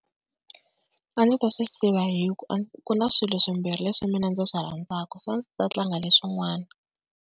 A ndzi ta swi siva hi ku, ku na swilo swimbirhi leswi mina ndzi swi rhandzaka so a ndzi ta tlanga leswin'wana.